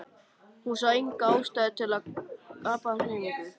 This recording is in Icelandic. Hún sá enga ástæðu til að gapa af hrifningu.